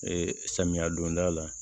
Ee samiya donda la